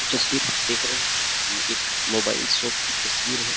ये जो तस्वीर हम देख रहे है ये एक मोबाइल शॉप की तस्वीर है।